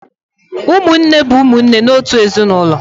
Ụmụnne bụ ụmụnne n’otu ezinụlọ.